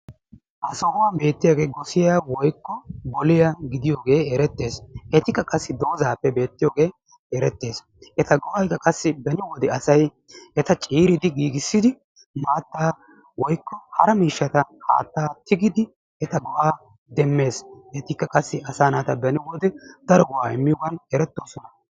Ha sohuwan beettiyaage gossiyaa woykko bulliyaa gidiyoige erettees. Etikka qassi doozappe beettiyooge erettees. Eta go"aykka qassi beni wode ciiridi giigissidi maata woykko hara miishshata haatta tigidi eta go"a demmees. Etikka qassi beni wode daro go"a immiyoogan erettooosona.